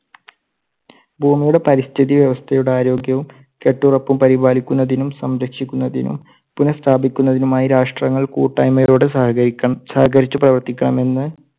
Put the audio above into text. ഭൂമിയുടെ പരിസ്ഥിതി വ്യവസ്ഥയുടെ ആരോഗ്യവും കെട്ടുറപ്പും പരിപാലിക്കുന്നതിനും സംരക്ഷിക്കുന്നതിനും പുനസ്ഥാപിക്കുന്നതിനുമായി രാഷ്ട്രങ്ങൾ കൂട്ടായ്മയോടെ സഹകരിക്കണം സഹകരിച്ച് പ്രവർത്തിക്കണമെന്ന്